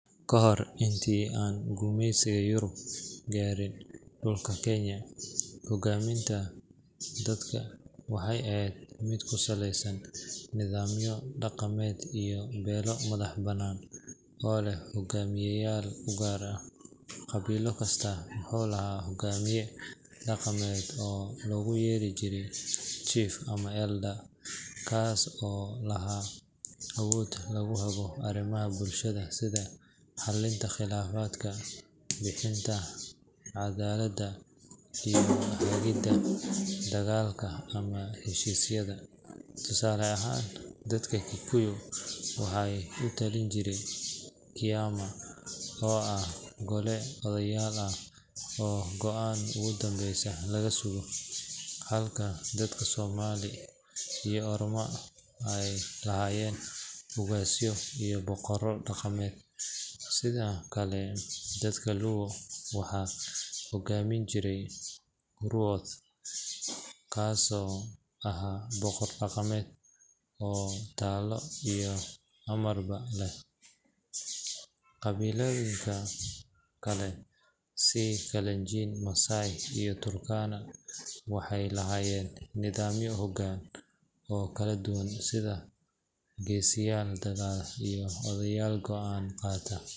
Ka hor intii aan gumaysiga Yurub gaarin dhulka Kenya, hogaaminta dadka waxay ahayd mid ku saleysan nidaamyo dhaqameed iyo beelo madax-bannaan oo leh hogaamiyeyaal u gaar ah. Qabiilo kasta wuxuu lahaa hogaamiye dhaqameed oo loogu yeeri jiray chief ama elder kaas oo lahaa awood lagu hago arrimaha bulshada sida xallinta khilaafaadka, bixinta caddaaladda, iyo hagidda dagaalka ama heshiisyada. Tusaale ahaan, dadka Kikuyu waxaa u talin jiray Kiama oo ah gole odayaal ah oo go’aanka ugu dambeeya laga sugo, halka dadka Somali iyo Orma ay lahaayeen ugaasyo iyo boqorro dhaqameed. Sidoo kale dadka Luo waxaa hogaamin jiray Ruoth kaasoo ahaa boqor dhaqameed oo talo iyo amarba leh. Qabiilooyinka kale sida Kalenjin, Maasai iyo Turkana waxay lahaayeen nidaamyo hogaan oo kala duwan sida geesiyaal dagaal iyo odayaal go’aan qaata.